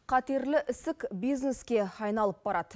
қатерлі ісік бизнеске айналып барады